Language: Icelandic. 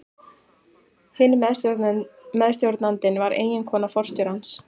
Hinn meðstjórnandinn var eiginkona forstjórans.